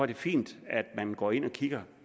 det fint at man går ind og kigger